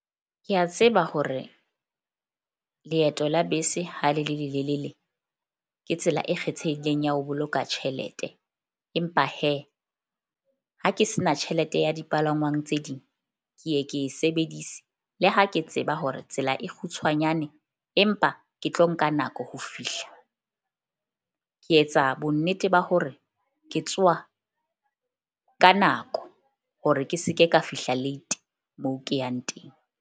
Ke a tseba hore leeto la bese ha le le lelelele. Ke tsela e kgethehileng ya ho boloka tjhelete. Empa ha ke se na tjhelete ya dipalangwang tse ding, ke ye ke e sebedise le ha ke tseba hore tsela e kgutshwanyane empa ke tlo nka nako ho fihla. Ke etsa bonnete ba hore ke tsoha ka nako hore ke se ke ka fihla late moo ke yang teng.